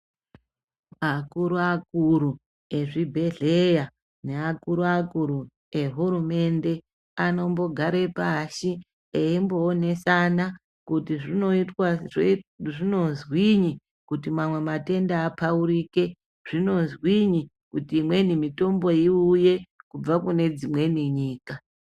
Akuru-akuru ezvibhedhleya neakuru-akuru ehurumende, anombogare pashi eimboonesana kuti zvinozwinyi kuti mamwe matenda apaurike. Zvinozwinyi kuti imweni mitombo iuye kubve kune dzimweni nyika.